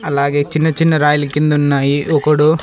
అలాగే చిన్న చిన్న రాయిలు కిందున్నాయి ఒకడు--